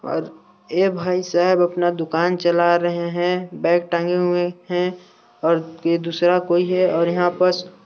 और ये भाईसाहब अपना दुकान चला रहा है बेग टाँगे हुए है और ये दूसरा कोई है और यहाँ पास--